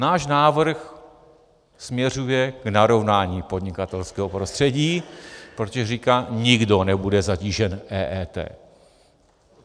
Náš návrh směřuje k narovnání podnikatelského prostředí, protože říká: nikdo nebude zatížen EET.